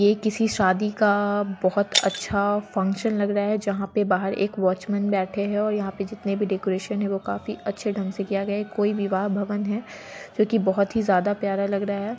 ये किसी शादी का बहुत अछा फंक्शन लग रहा है जहाँ पे बाहर एक वॉचमैन बैठे हैं और यहाँ पे जितने भी डेकोरेशन हैं वो काफी अच्छे ढंग से किया गया है कोई विवाह भवन है जोकि बहुत ही ज्यादा प्यारा लग रहा है।